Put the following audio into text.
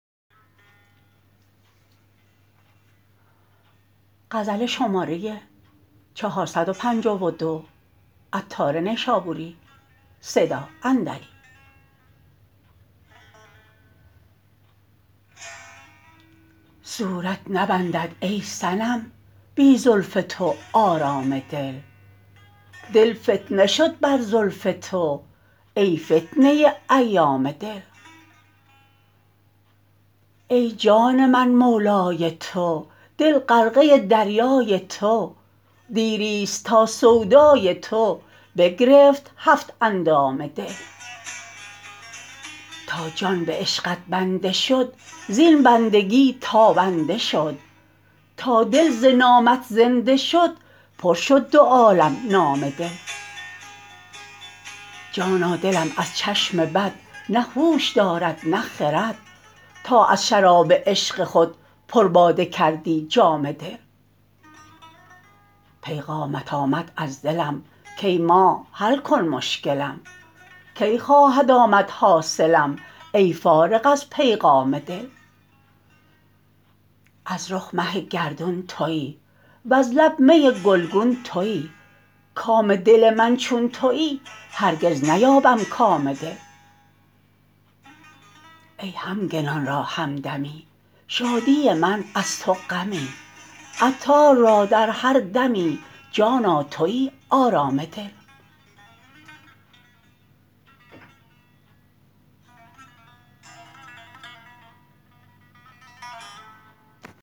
صورت نبندد ای صنم بی زلف تو آرام دل دل فتنه شد بر زلف تو ای فتنه ایام دل ای جان من مولای تو دل غرقه دریای تو دیری است تا سودای تو بگرفت هفت اندام دل تا جان به عشقت بنده شد زین بندگی تابنده شد تا دل ز نامت زنده شد پر شد دو عالم نام دل جانا دلم از چشم بد نه هوش دارد نه خرد تا از شراب عشق خود پر باده کردی جام دل پیغامت آمد از دلم کای ماه حل کن مشکلم کی خواهد آمد حاصلم ای فارغ از پیغام دل از رخ مه گردون تویی وز لب می گلگون تویی کام دل من چون تویی هرگز نیابم کام دل ای همگنان را همدمی شادی من از تو غمی عطار را در هر دمی جانا تویی آرام دل